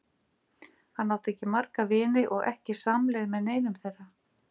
Hann átti ekki marga vini og ekki samleið með neinum þeirra.